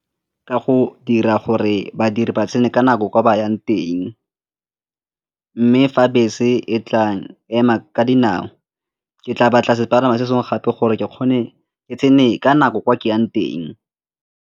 Ka go dira gore badiri ba tsene ka nako ko ba yang teng mme fa bese e tla ema ka dinao, ke tla ba tlase palama se sengwe gape gore ke kgone ke tsene ka nako kwa ke yang teng.